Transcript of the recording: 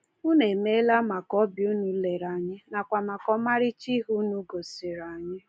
Ụnụ emeela maka ọbịa ụnụ lere anyị nakwa maka ọmarịcha ihe ndị ụnụ gosiri anyị.